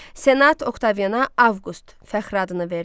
Senat Oktaviana Avqust fəxri adını verdi.